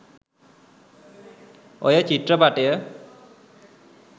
ඔය චිත්‍රපටය